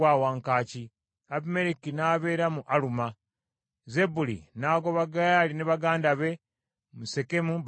Abimereki n’abeera mu Aluma. Zebbuli n’agoba Gaali ne baganda be mu Sekemu baleme kubeerangamu.